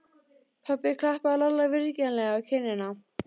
Pabbi klappaði Lalla vingjarnlega á kinnina.